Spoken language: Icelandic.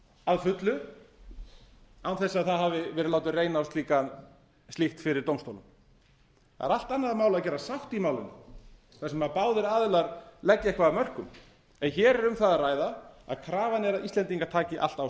að fullu án þess að það hafi verið reynt að láta reyna á slíkt fyrir dómstólum það er allt annað að gera sátt í málinu þar sem báðir aðilar leggja eitthvað af mörkum en hér er um það að ræða að krafan er að íslendingar taki allt á